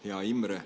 Hea Imre!